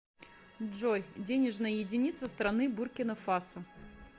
джой денежная единица страны буркина фасо